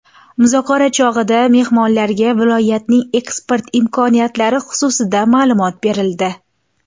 Muzokara chog‘ida mehmonlarga viloyatning eksport imkoniyatlari xususida ma’lumot berildi.